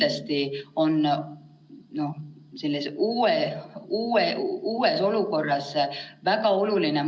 Maisse on planeeritud kaks eksamit: mai alguses inglise keele riigieksam, mida teeb 4500 noort, ja mai lõppu matemaatikaeksam, mida kokku, siis nii laia kui kitsast matemaatikat, läbivad 9000 noort.